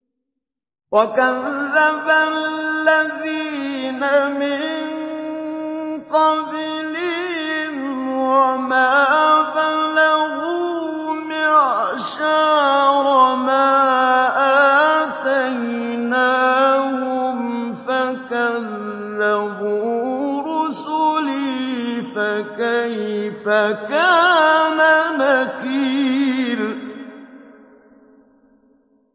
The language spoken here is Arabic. وَكَذَّبَ الَّذِينَ مِن قَبْلِهِمْ وَمَا بَلَغُوا مِعْشَارَ مَا آتَيْنَاهُمْ فَكَذَّبُوا رُسُلِي ۖ فَكَيْفَ كَانَ نَكِيرِ